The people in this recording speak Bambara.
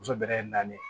Muso bɛrɛ ye naani ye